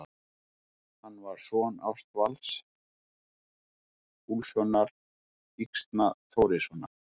Hann var son Ásvalds Úlfssonar Yxna-Þórissonar.